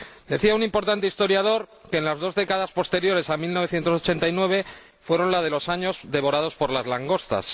Decía un importante historiador que las dos décadas posteriores a 1989 fueron las de los años devorados por las langostas.